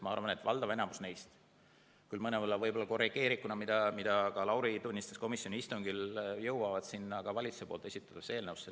Ma arvan, et valdav osa neist, küll mõnevõrra korrigeerituna, mida ka Lauri tunnistas komisjoni istungil, jõuavad valitsuse esitatud eelnõusse.